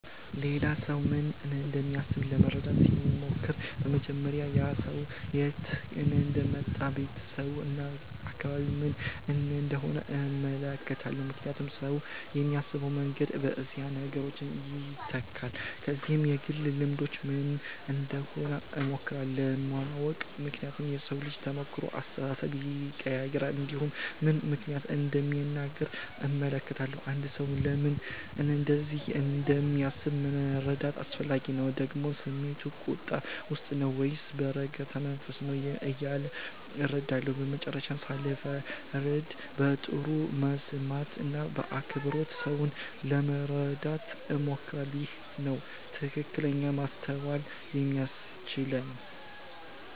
ሌላ ሰው ምን እንደሚያስብ ለመረዳት ሲሞክር በመጀመሪያ ያ ሰው ከየት እንደመጣ ቤተሰቡ እና አካባቢው ምን እንደሆነ እመለከታለሁ ምክንያቱም ሰው የሚያስብበት መንገድ በእነዚህ ነገሮች ይተካል ከዚያም የግል ልምዱ ምን እንደሆነ እሞክራለሁ ለማወቅ ምክንያቱም የሰው ተሞክሮ አስተሳሰቡን ይቀይራል እንዲሁም ምን ምክንያት እንደሚናገር እመለከታለሁ አንድ ሰው ለምን እንደዚህ እንደሚያስብ መረዳት አስፈላጊ ነው ደግሞ ስሜቱ ቁጣ ውስጥ ነው ወይስ በረጋ መንፈስ ነው እያለ እረዳለሁ በመጨረሻም ሳልፈርድ በጥሩ መስማት እና በአክብሮት ሰውን ለመረዳት እሞክራለሁ ይህ ነው ትክክለኛ ማስተዋል የሚያስችለኝ